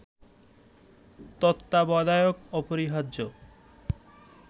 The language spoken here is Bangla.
তত্ত্বাবধায়ক অপরিহার্য